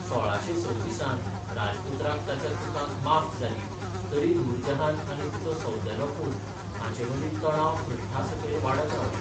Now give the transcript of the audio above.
सोळाशें सव्वीसांत राजपुत्राक ताच्या चुकांक माफ जाली तरी नूरजहान आनी तिचो सौतेलो पूत हांचेमदीं तणाव पृश्ठासकयल वाडत रावले.